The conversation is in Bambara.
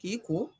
I ko